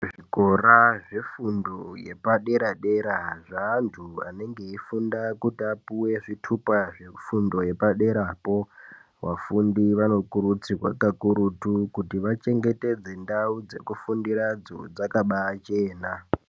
Zvikora zvefundo yepadera dera zvevantu vanenge veyifunda kuti vapuwe zvitupa zvefundo yepadera po vafundi vanokurudzirwa kakurutu kuti vachengetedze ndau dzekufundira dzo dzakabachena.